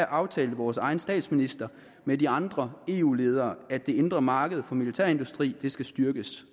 aftalte vores egen statsminister med andre eu ledere at det indre marked for militærindustrien skal styrkes